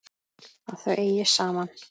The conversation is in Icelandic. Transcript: Að þau eigi saman.